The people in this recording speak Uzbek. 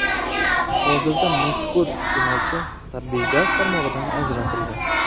Hozirda mazkur iste’molchi tabiiy gaz tarmog‘idan ajratilgan.